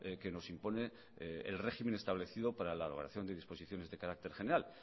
que nos impone el régimen establecido para la evaluación de disposiciones de carácter general